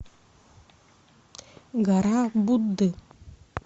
гора будды